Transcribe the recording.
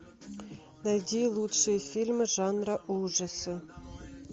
найди лучшие фильмы жанра ужасы